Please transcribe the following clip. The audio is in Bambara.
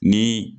Ni